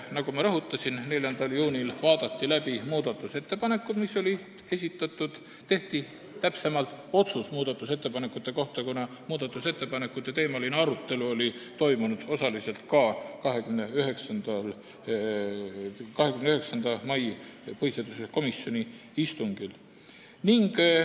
Nagu ma rõhutasin, 4. juunil vaadati läbi muudatusettepanekud, mis olid esitatud, täpsemalt öeldes tehti otsus muudatusettepanekute kohta, kuna arutelu muudatusettepanekute teemal oli osaliselt toimunud ka 29. mai istungil.